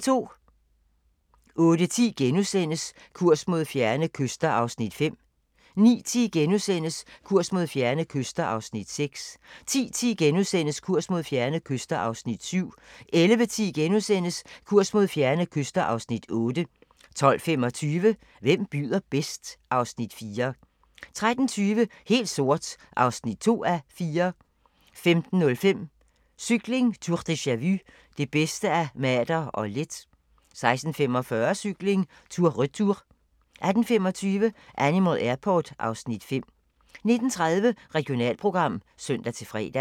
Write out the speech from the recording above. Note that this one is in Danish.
08:10: Kurs mod fjerne kyster (Afs. 5)* 09:10: Kurs mod fjerne kyster (Afs. 6)* 10:10: Kurs mod fjerne kyster (Afs. 7)* 11:10: Kurs mod fjerne kyster (Afs. 8)* 12:25: Hvem byder bedst? (Afs. 4) 13:20: Helt sort (2:4) 15:05: Cykling: Tour deja-vu - det bedste af Mader og Leth 16:45: Cykling: Tour Retour 18:25: Animal Airport (Afs. 5) 19:30: Regionalprogram (søn-fre)